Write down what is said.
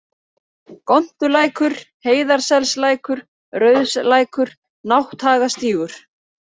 Gontulækur, Heiðarselslækur, Rauðslækur, Nátthagastígur